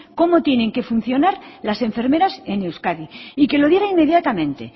cómo tienen que funcionar las enfermeras en euskadi y que lo diga inmediatamente